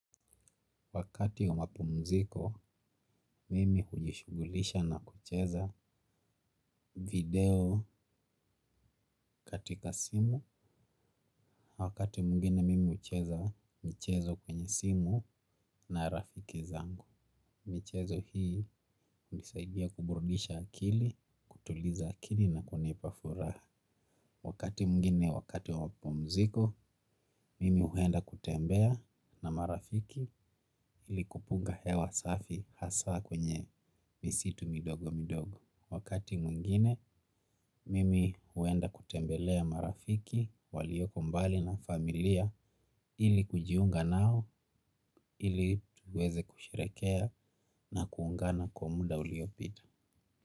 Wakati wa mapumziko, mimi hujishugulisha na kucheza video katika simu, wakati muingine mimi ucheza mchezo kwenye simu na rafiki zangu. Mchezo hii, unisaidia kuburudisha akili, kutuliza akili na kunipafuraha. Wakati mungine wakati wa mapomziko, mimi uhenda kutembea na marafiki ilikupunga hewa safi hasa kwenye misitu midogo midogo. Wakati mungine, mimi huenda kutembelea marafiki, walioko mbali na familia ili kujiunga nao, ili tuweze kushirekea na kuungana kwa muda uliopita.